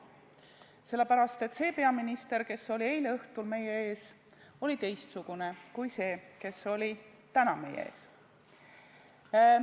Sellepärast, et see peaminister, kes oli eile õhtul meie ees, oli teistsugune kui see, kes oli täna meie ees.